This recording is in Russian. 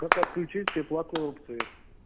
как отключить все платные опции